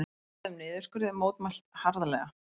Boðuðum niðurskurði mótmælt harðlega